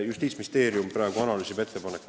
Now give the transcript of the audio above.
Justiitsministeerium praegu analüüsib ettepanekuid.